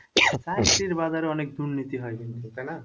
চাকরির বাজারে অনেক দুর্নীতি হয় কিন্তু তাই না?